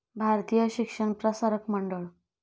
Bharatiya Shikshan Prasarak Mandal